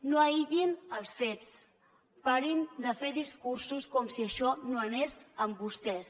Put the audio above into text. no aïllin els fets parin de fer discursos com si això no anés amb vostès